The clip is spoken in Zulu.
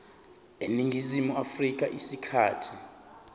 eningizimu afrika isikhathi